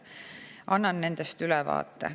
Annan nendest ülevaate.